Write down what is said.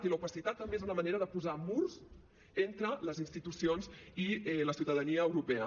i l’opacitat també és una manera de posar murs entre les institucions i la ciutadania europea